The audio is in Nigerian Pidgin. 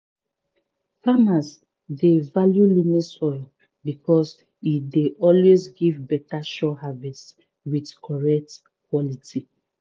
farmers dey value loamy soil because e dey always give beta sure harvest with correct quality